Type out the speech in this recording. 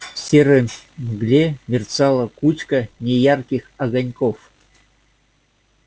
в серой мгле мерцала кучка неярких огоньков